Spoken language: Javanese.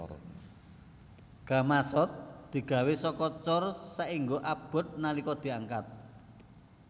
Gamasot digawé saka cor saéngga abot nalika diangkat